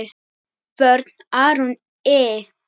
Vörn: Aron Ý.